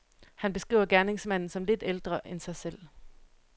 Han beskriver gerningsmanden som lidt ældre end sig selv.